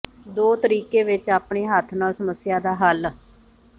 ਦੋ ਤਰੀਕੇ ਵਿੱਚ ਆਪਣੇ ਹੱਥ ਨਾਲ ਸਮੱਸਿਆ ਦਾ ਹੱਲ